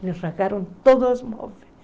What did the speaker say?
Eles rasgaram todos os móveis.